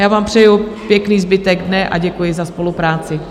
Já vám přeju pěkný zbytek dne a děkuji za spolupráci.